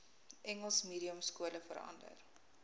engels mediumskole verander